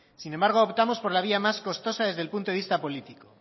sin embargo optamos por la vía más costosa desde el punto de vista político